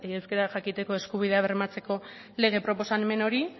euskara jakiteko eskubidea bermatzeko lege proposamen hori